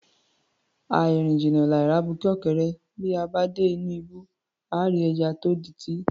Àì rìn jìnnà, làì rí abuké ọ̀kẹ́rẹ́, bí a bá dé inú ibú, àá rí ẹja tó di’tí